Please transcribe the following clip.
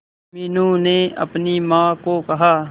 मीनू ने अपनी मां को कहा